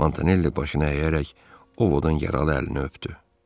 Montanelli başına əyərək Ovodan yaralı əlini öpdü.